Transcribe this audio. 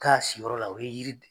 K'a si yɔrɔ la o ye yiri de